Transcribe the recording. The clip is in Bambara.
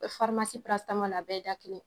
E farimasi parasamɔli a bɛɛ ye da kelen